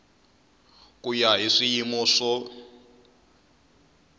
ku ya hi swiyimo swo